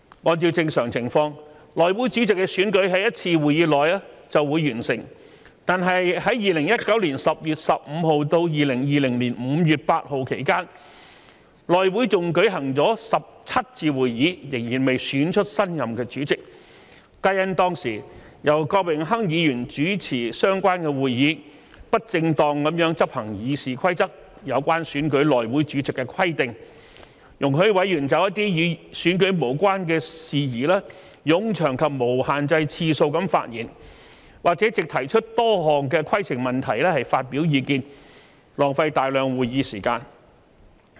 按照正常情況，內會主席的選舉在一次會議內便會完成，但在2019年10月15日至2020年5月8日期間，內會共舉行17次會議，仍未選出新任主席，皆因當時由前議員郭榮鏗主持相關會議，不正當執行《議事規則》有關選舉內會主席的規定，容許委員就一些與選舉無關的事宜作冗長及無限制次數的發言，或藉提出多項規程問題發表意見，浪費大量會議時間。